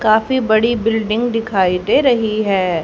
काफी बड़ी बिल्डिंग दिखाई दे रही है।